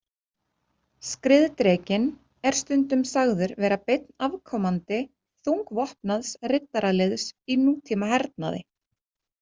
Skriðdrekinn er stundum sagður vera beinn afkomandi þungvopnaðs riddaraliðs í nútímahernaði.